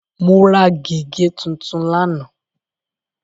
Mo ra gègé tuntun lánàá.